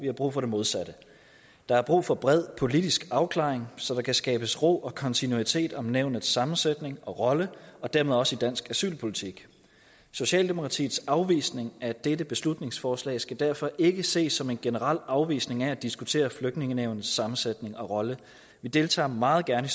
har brug for det modsatte der er brug for en bred politisk afklaring så der kan skabes ro og kontinuitet om nævnets sammensætning og rolle og dermed også i dansk asylpolitik socialdemokratiets afvisning af dette beslutningsforslag skal derfor ikke ses som en generel afvisning af at diskutere flygtningenævnets sammensætning og rolle vi deltager meget gerne